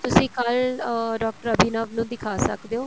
ਤੁਸੀਂ ਕੱਲ ਅਹ ਡਾਕਟਰ ਅਭਿਨਵ ਨੂੰ ਦਿਖਾ ਸਕਦੇ ਓ